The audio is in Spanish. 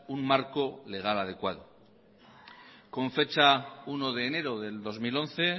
un marco legal adecuado con fecha uno de enero del dos mil once